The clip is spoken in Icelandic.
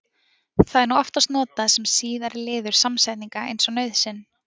Það er nú oftast notað sem síðari liður samsetninga eins og nauðsyn.